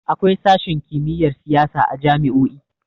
Akwai sashin kimiyyar siyasa a jami'o'i.